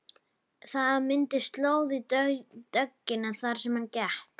Það myndaðist slóð í dögg- ina þar sem hann gekk.